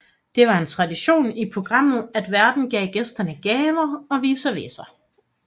Det var en tradition i programmet at værten gav gæsterne gaver og vice versa